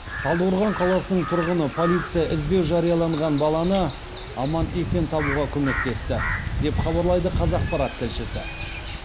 талдықорған қаласының тұрғыны полиция іздеу жарияланған баланы аман есен табуға көмектесті деп хабарлайды қазақпарат тілшісі